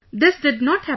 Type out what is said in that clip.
This did not happen